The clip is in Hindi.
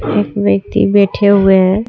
एक व्यक्ति बैठे हुए है।